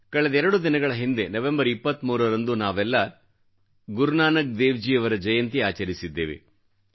ಕಳೆದೆರಡು ದಿನಗಳ ಹಿಂದೆ ನವಂಬರ್ 23ರಂದು ನಾವೆಲ್ಲಾ ಗುರುನಾನಕ್ ದೇವ್ಜಿ ಅವರ ಜಯಂತಿ ಆಚರಿಸಿದ್ದೇವೆ